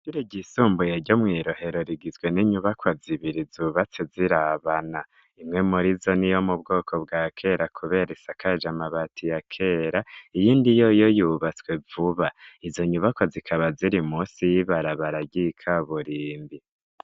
Ishure ryisumbuye ryo mwi Rohero rigizwe n'inyubakwa zibiri zubatse zirabana imwe murizo niyo mu bwoko bwa kera kubera isakaje amabati ya kera iyindi yoyo yubatswe vuba izo nyubakwa zikaba ziri munsi y'ibarabaragika ryika burimbi.